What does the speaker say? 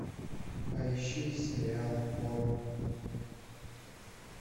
поищи сериал хор